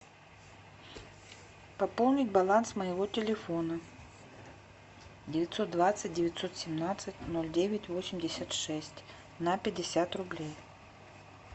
пополнить баланс моего телефона девятьсот двадцать девятьсот семнадцать ноль девять восемьдесят шесть на пятьдесят рублей